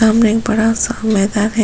सामने एक बड़ा सा मैदान है ।